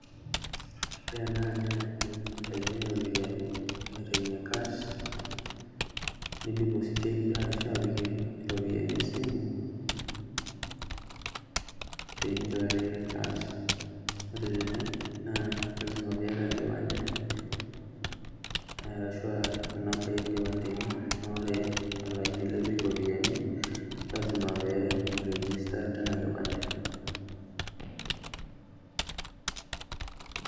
Ore ena naa ewueji nitayunyieki ropiyiani aitayunyie cash , nidipositieki ashu apikie iropiyiani esimu pinchoyo cash. Ore tene naa lasima piata enkipande ashua inambai enkipande ino .Ore olaini lipik iropiyiani lasima pee iregister tina kipande .